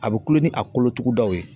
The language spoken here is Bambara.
A bɛ kulo ni a kolotugudaw ye.